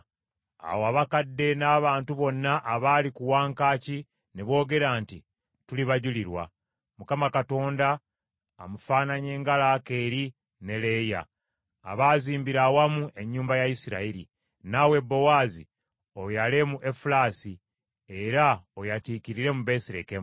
Awo abakadde n’abantu bonna abaali ku wankaaki ne boogera nti, “Tuli bajulirwa. Mukama Katonda amufaananye nga Laakeeri ne Leeya , abaazimbira awamu ennyumba ya Isirayiri. Naawe Bowaazi oyale mu Efulasi, era oyatiikirire mu Besirekemu,